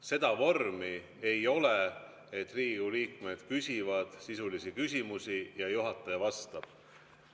Seda vormi ei ole, et Riigikogu liikmed küsivad sisulisi küsimusi ja juhataja vastab.